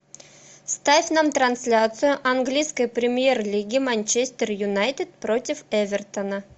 ставь нам трансляцию английской премьер лиги манчестер юнайтед против эвертона